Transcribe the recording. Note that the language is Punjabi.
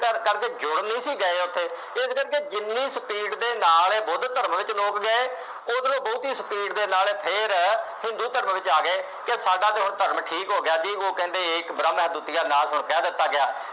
ਕਰ ਕਰ ਕਰਦੇ ਜੁੜ ਨਹੀਂ ਸੀ ਗਏ ਉੱਥੇ, ਇਹ ਜਿਹੜੇ ਕਿ ਜਿੰਨੀ speed ਦੇ ਨਾਲ ਇਹ ਬੁੱਧ ਧਰਮ ਦੇ ਵਿੱਚ ਲੋਕ ਗਏ, ਉੱਧਰੋ ਬਹੁਤੀ speed ਦੇ ਨਾਲ ਫੇਰ ਹਿੰਦੂ ਧਰਮ ਵਿੱਚ ਆ ਗਏ ਕਿ ਸਾਡਾ ਤਾਂ ਹੁਣ ਧਰਮ ਠੀਕ ਹੋ ਗਿਆ ਜੀ, ਉਹ ਕਹਿੰਦੇ ਏਕ ਬ੍ਰਹਮ ਹੈ ਦੁਤੀਆਂ ਨਾਪ ਹੈ, ਇਹ ਕਹਿ ਦਿੱਤਾ ਗਿਆ।